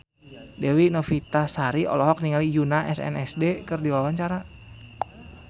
Dewi Novitasari olohok ningali Yoona SNSD keur diwawancara